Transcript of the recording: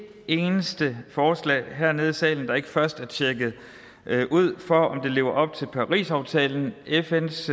eneste forslag hernede i salen der ikke først er tjekket ud for om det lever op til parisaftalen fns